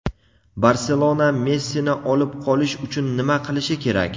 "Barselona" Messini olib qolish uchun nima qilishi kerak?.